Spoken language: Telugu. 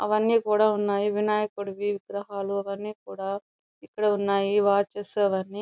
అవన్నీ కూడా ఉన్నాయి వినాయకుడికి విగ్రహాలు అన్ని కూడా ఇక్కడ ఉన్నాయి. వాచెస్ అవన్నీ --